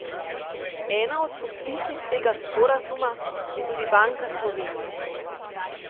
Ena od podpisnic tega sporazuma je tudi Banka Slovenije.